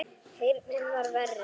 Heyrnin var verri.